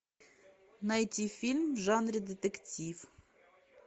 найти фильм в жанре детектив